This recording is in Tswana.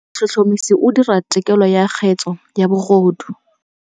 Motlhotlhomisi o dira têkolô ya kgetse ya bogodu.